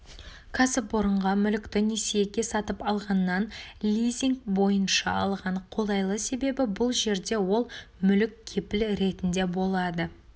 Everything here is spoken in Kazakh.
кәсіпорынға мүлікті несиеге сатып алғаннан лизинг бойынша алған қолайлы себебі бұл жерде ол мүлік кепіл ретінде болады